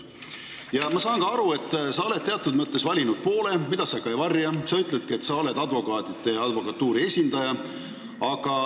Ma saan ka aru, et sa oled teatud mõttes valinud poole, mida sa ei varja – sa ütledki, et oled advokaatide ja advokatuuri esindaja.